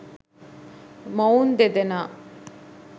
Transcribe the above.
මොවුන් දෙදෙනා